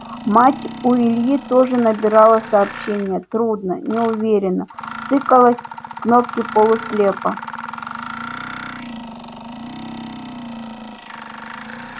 мать у ильи тоже набирала сообщения трудно неуверенно тыкалась в кнопки полуслепо